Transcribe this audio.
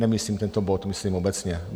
Nemyslím tento bod, myslím obecně.